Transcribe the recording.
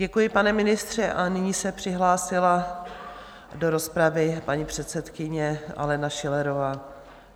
Děkuji, pane ministře, a nyní se přihlásila do rozpravy paní předsedkyně Alena Schillerová.